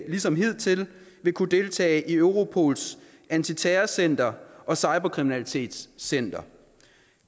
ligesom hidtil vil kunne deltage i europols antiterrorcenter og cyberkriminalitetscenter